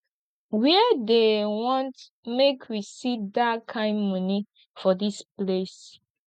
where dey want make we see dat kin money for dis place